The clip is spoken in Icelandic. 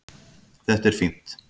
Þetta er fínt.